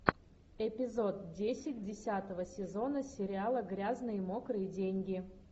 эпизод десять десятого сезона сериала грязные мокрые деньги